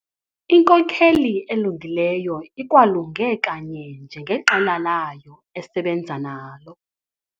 Inkokeli elungileyo ikwalunge kanye njengeqela layo esebenza nalo.